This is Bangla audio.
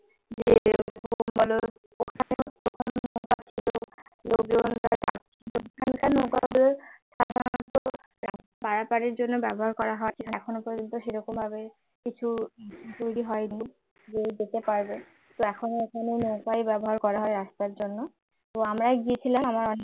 পারাপারের জন্য ব্যবহার করা হয় এখনো পর্যন্ত সেরকম ভাবে কিছু তৈরি হয়নি যে যেতে পারবে তো এখনো ওখানে নৌকায় ব্যবহার করা হয় রাস্তার জন্য তো আমরা গেছিলাম আমার